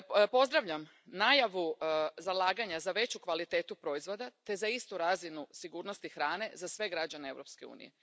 Pozdravljam najavu zalaganja za veću kvalitetu proizvoda te za istu razinu sigurnosti hrane za sve građane Europske unije.